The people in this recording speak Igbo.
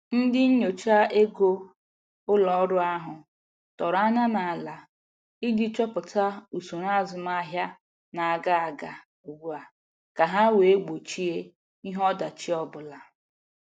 Ndị nyocha ego ụlọ ọrụ ahụ tọrọ anya n'ala iji chọpụta usoro azụmahịa na-aga aga ugbua ka ha wee gbochie ihe ọdachi ọbụla.